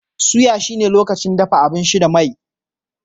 Soya shi ne lokacin dafa abinci da mai.